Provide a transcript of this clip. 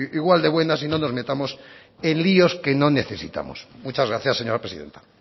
igual de buenas y no nos metamos en líos que no necesitamos muchas gracias señora presidenta